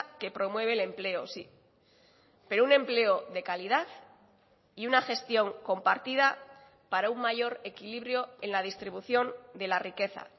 que promueve el empleo sí pero un empleo de calidad y una gestión compartida para un mayor equilibrio en la distribución de la riqueza